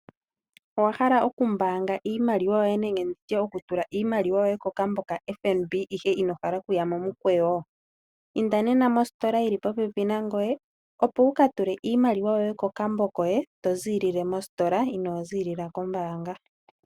Owahala okumbaanga iimaliwa yoye nenge nditye okutula iimaliwa yoye kokambo hono kaFNB ngoye ihe inohala okuya momikweyo? Inda nena mositola yili popepi nangoye opo wuka tule iimaliwa kokambo koye to ziilile mositola inoo ziilila kombaanga.